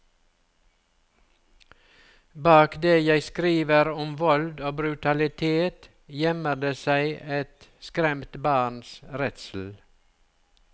Bak det jeg skriver om vold og brutalitet, gjemmer det seg et skremt barns redsel.